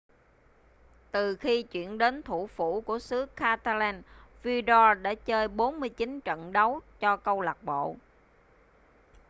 từ khi chuyển đến thủ phủ của xứ catalan vidal đã chơi 49 trận đấu cho câu lạc bộ